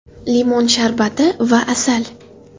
Limon sharbati va asal .